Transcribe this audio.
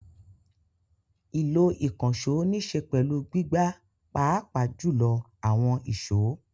Ìlò ìkànṣó níṣe pẹ̀lú gbígbá pàápàá jùlọ àwọn ìṣó.